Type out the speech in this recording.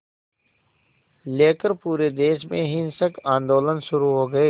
लेकर पूरे देश में हिंसक आंदोलन शुरू हो गए